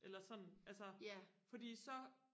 eller sådan altså fordi så